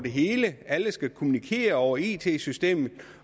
hele alle skal kommunikere over it systemer